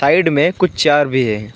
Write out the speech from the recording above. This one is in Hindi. में कुछ चार भी हैं।